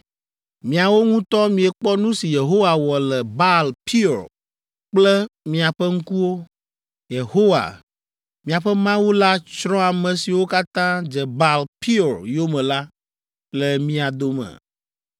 Miawo ŋutɔ miekpɔ nu si Yehowa wɔ le Baal Peor kple miaƒe ŋkuwo. Yehowa, miaƒe Mawu la tsrɔ̃ ame siwo katã dze Baal Poer yome la le mia dome.